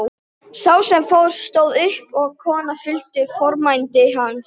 Sá sem fór stóð upp og konan fylgdi fordæmi hans.